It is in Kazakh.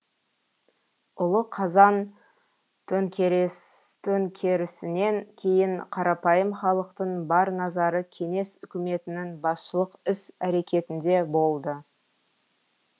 ұлы қазан төңкерісінен кейін қарапайым халықтың бар назары кеңес үкіметінің басшылық іс әрекетінде болды